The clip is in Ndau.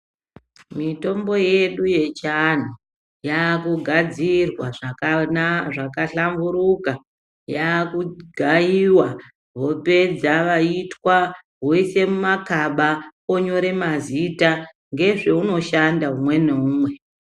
Mitombo yedu yechianhu yaakugadzirwa zvakahlamburuka .Yaakugaiwa vopedza woiswa wose mumakaba ,onyore mazita nezveunoshanda umwe neumwe.